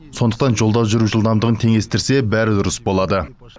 сондықтан жолда жүру жылдамдығын теңестірсе бәрі дұрыс болады